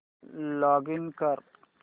login कर